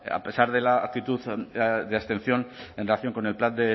a pesar de la actitud de abstención en relación con el plan